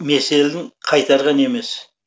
меселін қайтарған емес